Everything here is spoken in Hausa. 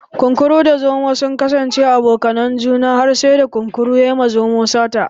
Kunkuru da zomo sun kasance abokanan juna sai da kunkurun ya yi ma zomon sata